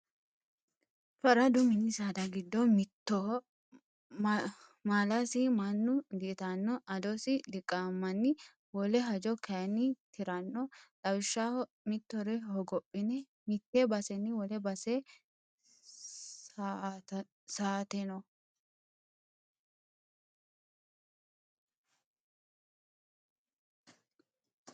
Faradu mini saada giddo mittoho maalasi mannu di"ittano adosi diqamanni wole hajo kayinni tirano lawishshaho mittore hogophine mite baseni wole base sa'ateno.